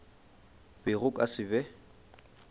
be go ka se be